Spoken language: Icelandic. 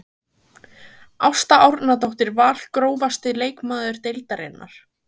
Ásta Árnadóttir Val Grófasti leikmaður deildarinnar?